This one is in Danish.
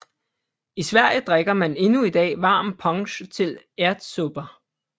I Sverige drikker man endnu i dag varm punsch til ärtsoppa